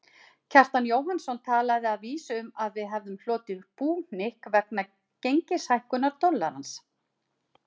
Kjartan Jóhannsson talaði að vísu um að við hefðum hlotið búhnykk vegna gengishækkunar dollarans.